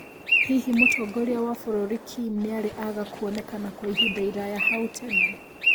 Hihi Mũtongoria wa bũrũri Kim nĩarĩ aga kwoneka Kwa ihinda iraya hau tene?